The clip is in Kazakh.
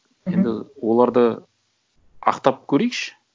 мхм енді оларды ақтап көрейікші